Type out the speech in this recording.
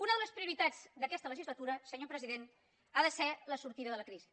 una de les prioritats d’aquesta legislatura senyor president ha de ser la sortida de la crisi